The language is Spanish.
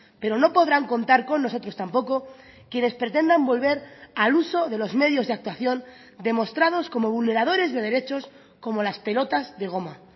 pero no podrán contar con nosotros tampoco quienes pretendan volver al uso de los medios de actuación demostrados como vulneradores de derechos como las pelotas de goma